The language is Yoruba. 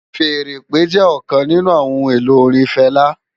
Fèèrè ìpè jè òkán ninù óhùn-éló órin Fela